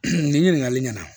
Nin ɲininkakali ɲɛna